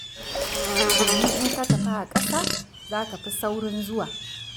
Domin in ka tafi a ƙasa za ka fi saurin zuwa.